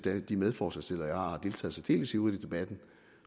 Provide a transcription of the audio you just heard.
at de medforslagsstillere jeg har har deltaget særdeles ivrigt i debatten